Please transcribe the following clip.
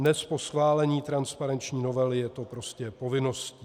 Dnes, po schválení transparenční novely, je to prostě povinností.